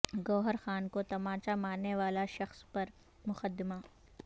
گوہر خان کو طمانچہ مارنے والے شخص پر مقدمہ